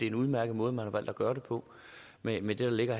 en udmærket måde man har valgt at gøre det på med det der ligger